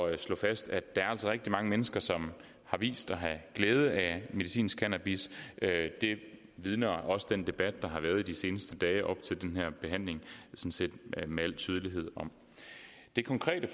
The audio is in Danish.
at slå fast at der altså er rigtig mange mennesker som har vist at have glæde af medicinsk cannabis det vidner den debat der har været i de seneste dage op til den her behandling med al tydelighed om det konkrete